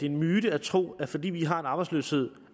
en myte at tro at fordi vi har arbejdsløshed